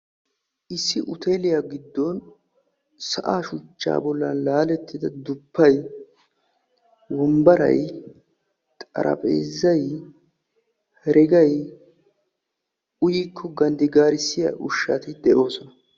issi hoteeliya giddon sa'aa shuchchcaa giidon laalettidi wombbaray, xarapheezzay heregay uyikko ganddigaarissiya ushshati de'oosona.